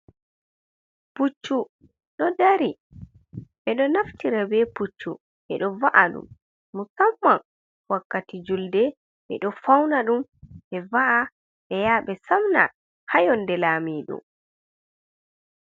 Puccu ɗo dari. Ɓe ɗo naftira be puccu ɓe ɗo va’a ɗum musamman wakkati julde ɓe ɗo fauna ɗum ɓe va’a be ya ɓe samna ha yonde Lamiɗo.